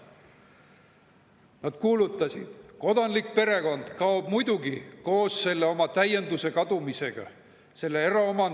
Nad kuulutasid: "Kodanlik perekond kaob muidugi koos selle oma täienduse kadumisega, [Koos eraomandi kadumisega.